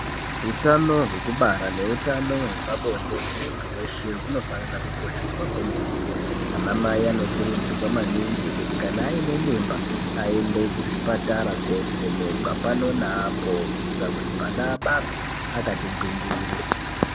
Hutano hwekubara nehutano hwepabonde hwemuntu veshe hunofanira kukosheswa kwemene. Anamai anokurudzirwa maningi kuti kana aine mimba aende kuzvipatara kovhenekwa pano neapo kuitira kuti mwana abarwe akati gwindiri.